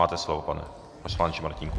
Máte slovo, pane poslanče Martínku.